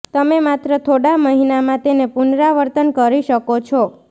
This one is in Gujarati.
તમે માત્ર થોડા મહિનામાં તેને પુનરાવર્તન કરી શકો છો